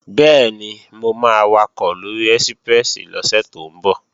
Bẹ́ẹ̀ni, mo máa wakọ̀ lóri ẹ́síprẹ́sì lọ́sẹ̀ tó ń bọ̀